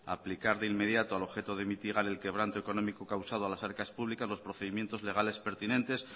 aplicar de inmediato al objeto de mitigar el quebranto económico causado a las arcar públicas los procedimientos legales pertinentes